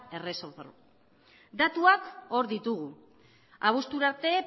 erreforma datuak hor ditugu abuztura arte